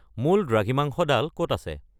মূল দ্ৰাঘিমাংশডাল ক'ত আছে